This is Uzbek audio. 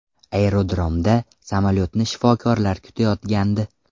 Aerodromda samolyotni shifokorlar kutayotgandi.